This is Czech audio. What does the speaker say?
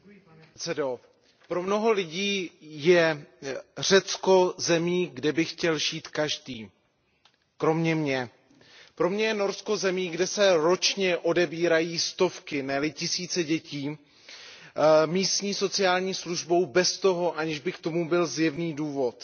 Pane předsedající, pro mnoho lidí je Norsko zemí, kde by chtěl žít každý. Kromě mě. Pro mě je Norsko zemí, kde se ročně odebírají stovky, ne li tisíce dětí místní sociální službou bez toho, aniž by k tomu byl zjevný důvod.